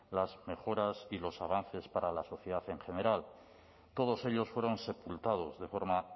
las mejoras y los avances para la sociedad en general todos ellos fueron sepultados de forma